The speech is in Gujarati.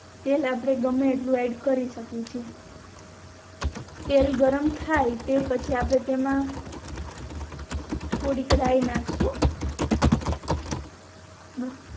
તેલ ગમે તેટલું આપણે એડ કરી શકીયે છે તેલ ગરમ થાય તે પછી આપણે તેમ થોડીક રાય નાખશુ